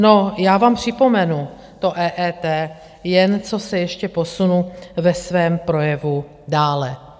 No, já vám připomenu to EET, jen co se ještě posunu ve svém projevu dále.